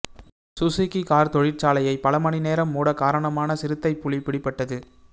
Suzuki car தொழிற்சாலையை பல மணி நேரம் மூட காரணமான சிறுத்தைப் புலி பிடிப்பட்டது